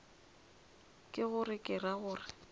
ke gore ke ra gore